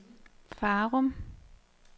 Farum